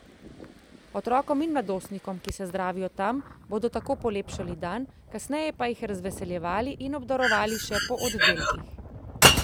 Otrokom in mladostnikom, ki se zdravijo tam, bodo tako polepšali dan, kasneje pa jih razveseljevali in obdarovali še po oddelkih.